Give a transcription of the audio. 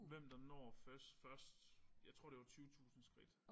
Hvem der når først først jeg tror det var 20000 skridt